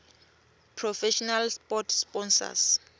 professional sport sponsors